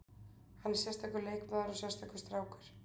Hann er sérstakur leikmaður og sérstakur strákur.